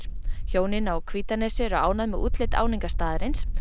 hjónin á Hvítanesi eru ánægð með útlit áningarstaðarins